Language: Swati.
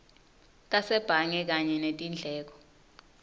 tasebhange kanye netindleko